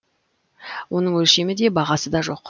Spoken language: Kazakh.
оның өлшемі де бағасы да жоқ